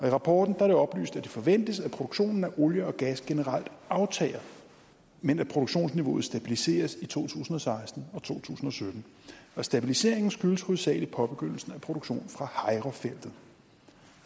i rapporten er det oplyst at det forventes at produktionen af olie og gas generelt aftager men at produktionsniveauet stabiliseres i to tusind og seksten og to tusind og sytten og stabiliseringen skyldes hovedsagelig påbegyndelsen af produktion fra hejrefeltet